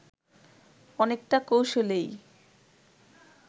অনেকটা কৌশলেই